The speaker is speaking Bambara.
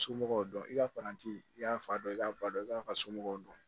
Somɔgɔw dɔn i ka paranti i y'a fa dɔn i k'a ba dɔn i kan ka somɔgɔw dɔn